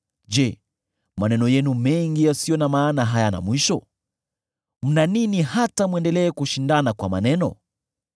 Je, maneno yenu mengi yasiyo na maana hayana mwisho? Mna nini hata mwendelee kushindana kwa maneno?